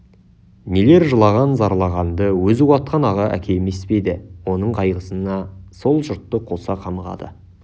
нелер жылаған зарлағанды өзі уатқан аға әке емес пе еді оның қайғысына сол жұрты қоса қамығады